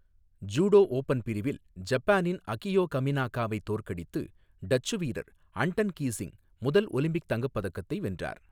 Judo open பிரிவில் ஜப்பானின் Akio கமினாகாவை தோற்கடித்து டச்சு வீரர் அன்டன் கீஸிங்க் முதல் ஒலிம்பிக் தங்கப் பதக்கத்தை வென்றார்.